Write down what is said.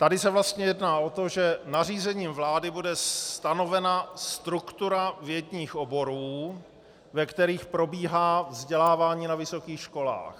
Tady se vlastně jedná o to, že nařízením vlády bude stanovena struktura vědních oborů, ve kterých probíhá vzdělávání na vysokých školách.